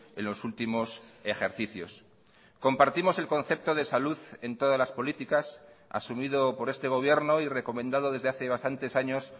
en los últimos ejercicios compartimos elconcepto de salud en todas las políticas asumido por este gobierno y recomendado desde hace bastantes años